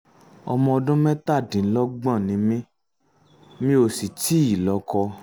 ọmọ ọdún mẹ́tàdínlọ́gbọ̀n ni mí mi ò sì um tíì lọ́kọ